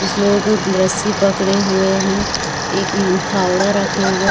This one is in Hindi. कुछ लोग रस्सी पकड़े हुए है एक फावड़ा रखे हुए--